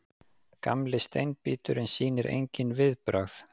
Gamli steinbíturinn sýnir engin viðbrögð.